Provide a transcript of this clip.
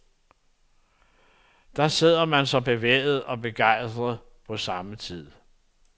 Der sidder man så, bevæget og begejstret på samme tid.